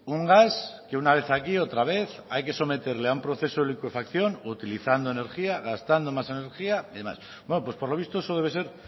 un gas que una vez aquí otra vez hay que someterle a un proceso de licuefacción utilizando energía gastando más energía y demás pues por lo visto eso debe ser